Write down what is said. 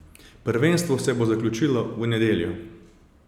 Prvenstvo se bo zaključilo v nedeljo.